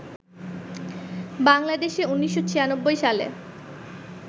বাংলাদেশে ১৯৯৬ সালে